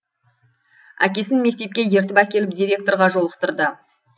әкесін мектепке ертіп әкеліп директорға жолықтырды